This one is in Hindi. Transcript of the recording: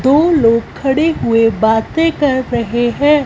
दो लोग खड़े हुए बातें कर रहे हैं।